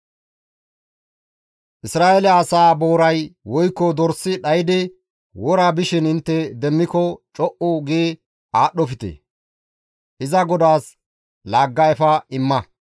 Isra7eele asaa booray woykko dorsi dhaydi wora bishin intte demmiko co7u gi aadhdhofte; iza godaas laagga efa imma.